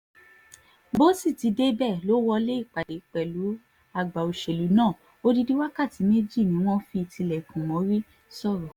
bó sì ti débẹ̀ lọ wọlé ìpàdé pẹ̀lú àgbà òṣèlú náà odidi wákàtí méjì ni wọ́n fi tilẹ̀kùn mórí sọ́rọ̀